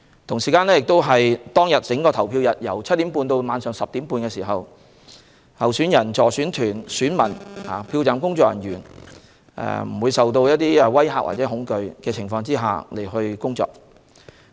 整個投票日由早上7時30分至晚上10時30分，候選人、助選團、選民及票站工作人員須在不受威嚇和恐懼的情況下工作。